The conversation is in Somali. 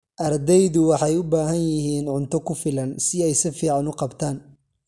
Ardaydu waxay u baahan yihiin cunto ku filan si ay si fiican u qabtaan.